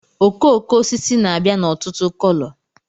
okooko osisi na-abịa n'ọtụtụ kolo